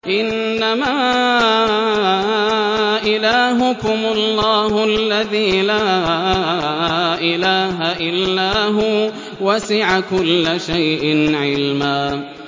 إِنَّمَا إِلَٰهُكُمُ اللَّهُ الَّذِي لَا إِلَٰهَ إِلَّا هُوَ ۚ وَسِعَ كُلَّ شَيْءٍ عِلْمًا